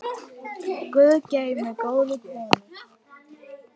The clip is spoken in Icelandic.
Guð geymi góða konu.